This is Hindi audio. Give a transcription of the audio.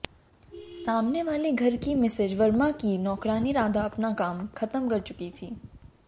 सामने वाले घर की मिसेज वर्मा की नौकरानी राधा अपना काम खत्म कर चुकी थी